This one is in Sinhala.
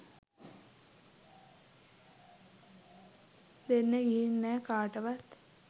දෙන්න ගිහින් නෑ කාටවත් .